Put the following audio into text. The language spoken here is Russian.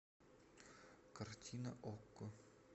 картина окко